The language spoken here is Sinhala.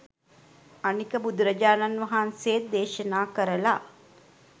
අනික බුදුරජානන් වහන්සේත් දේශනා කරලා